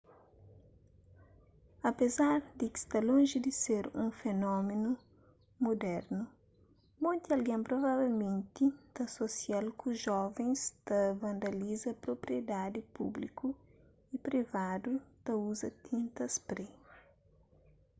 apézar di sta lonji di ser un fenómenu mudernu monti algen provavelmenti ta asosia-l ku jovens ta vandaliza propriedadi públiku y privadu ta uza tinta spray